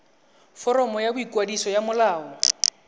foromo ya boikwadiso ya molao